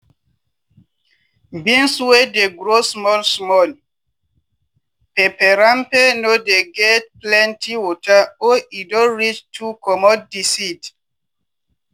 beans wey dey grow small small peperempe no dey get plenty water or e don reach to comot di seed.